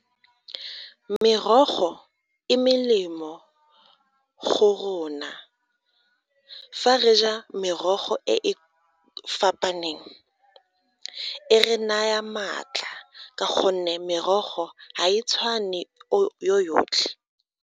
Merogo e melemo go rona, fa re ja merogo e e fapaneng e re naya maatla ka gonne merogo ga e tshwane yotlhe.